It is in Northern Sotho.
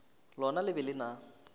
lona le be le na